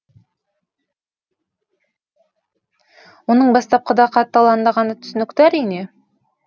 оның бастапқыда қатты алаңдағаны түсінікті әрине